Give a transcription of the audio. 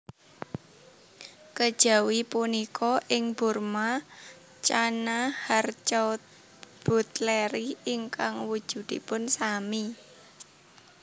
Kejawi punika ing Burma Channa harcourtbutleri ingkang wujudipun sami